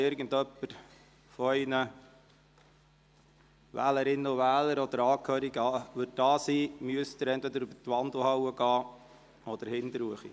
Falls jemand von Ihren Wählerinnen und Wählern oder Angehörigen auf der Tribüne anwesend ist, müssen Sie entweder den Weg über die Wandelhalle oder über den Zugang hinten wählen.